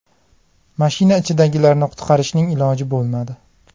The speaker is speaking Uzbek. Mashina ichidagilarni qutqarishning iloji bo‘lmadi.